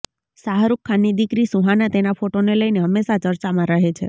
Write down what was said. શાહરુખ ખાનની દીકરી સુહાના તેના ફોટોને લઈને હંમેશાં ચર્ચામાં રહે છે